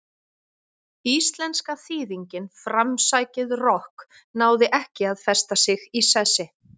Íslenska þýðingin framsækið rokk náði ekki að festa sig í sessi.